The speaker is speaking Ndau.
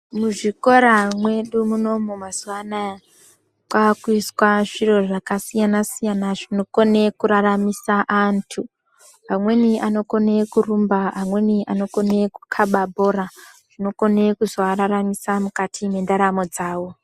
Muzvikora mwedu munomu mazuva anaya, kwakuizwa zviro zvakasiyana siyana zvinokone kuraramise antu. Amweni anokone kurumba amweni kukhaba bhora, zvinokone kuzoararamisa mukati mendaramo dzavo.